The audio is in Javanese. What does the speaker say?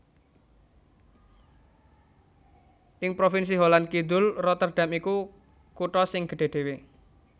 Ing provinsi Holland Kidul Rotterdam iku kutha sing gedhé dhéwé